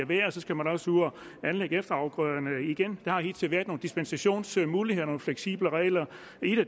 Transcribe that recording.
vejr og så skal man også ud at anlægge efterafgrøderne igen der har hidtil været nogle dispensationsmuligheder nogle fleksible regler og